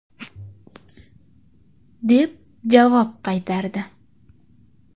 !” deb javob qaytardi.